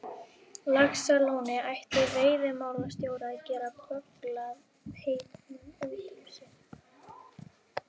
Laxalóni ætti veiðimálastjóri að geta bögglað heitunum út úr sér.